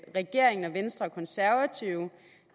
regeringen venstre og konservative